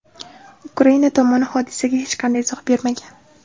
Ukraina tomoni hodisaga hech qanday izoh bermagan.